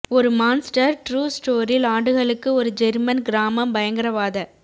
ஒரு monster true story ஆண்டுகளுக்கு ஒரு ஜெர்மன் கிராமம் பயங்கரவாத